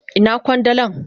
Ina kwandalan?